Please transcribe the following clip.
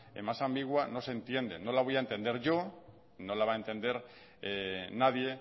más ambigua no se entiende no la voy a entender yo no la va a entender nadie